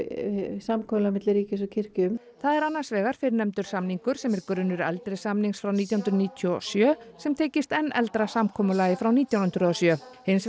samkomulag milli ríkis og kirkju um það er annars vegar fyrrnefndur samningur sem er grunnur eldri samnings frá nítján hundruð níutíu og sjö sem tengist enn eldra samkomulagi frá nítján hundruð og sjö hins